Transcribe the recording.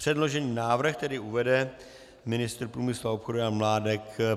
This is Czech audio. Předložený návrh tedy uvede ministr průmyslu a obchodu Jan Mládek.